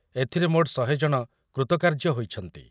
ଏଥିରେ ମୋଟ୍ ଶହେ ଜଣ କୃତକାର୍ଯ୍ୟ ହୋଇଛନ୍ତି ।